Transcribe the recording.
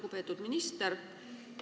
Lugupeetud minister!